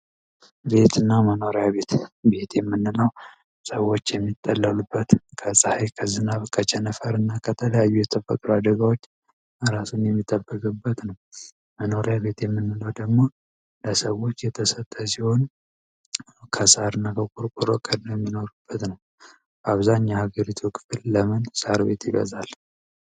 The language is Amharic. መኖሪያ እና መኖሪያ ቤት ቤት የምንለው ሰዎችን የሚጸለልሉበት ከጸሃይ ከዝናብ ከቸነፈር እና ከተለያዩ የተፈጥሮ አደጋዎች የሚጠበቅበት ነው። መኖሪያ ቤት የምንለው ደግሞ ሰዎች የተሰጠችውን አብዛኛው የሀገሪቱን ለምን ሳር ቤት ይበዛል።